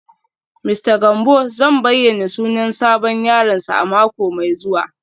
Mista Gambo zai bayyana sunan sabon yaronsa a mako mai zuwa